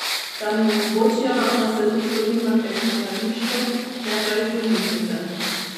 Da mi omogočijo, da se poslovim na tekmovališču, ne pa iz bolnišnice.